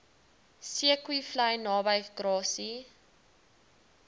zeekoevlei naby grassy